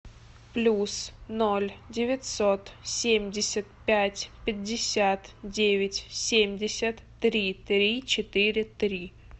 плюс ноль девятьсот семьдесят пять пятьдесят девять семьдесят три три четыре три